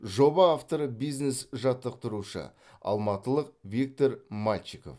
жоба авторы бизнес жаттықтырушы алматылық виктор мальчиков